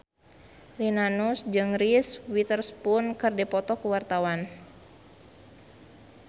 Rina Nose jeung Reese Witherspoon keur dipoto ku wartawan